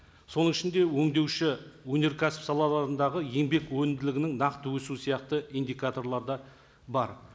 соның ішінде өндеуші өнеркәсіп салаларындағы еңбек өнімділігінің нақты өсуі сияқты индикаторлары да бар